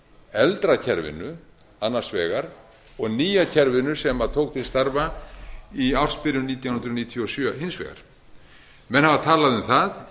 eldra kerfinu annars vegar og nýja kerfinu sem tók til starfa í ársbyrjun nítján hundruð níutíu og sjö hins vegar menn hafa talað um það